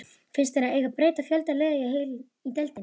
Finnst þér að eigi að breyta fjölda liða í deildinni?